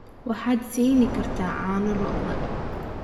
waxaad siin kartaa caano lo'da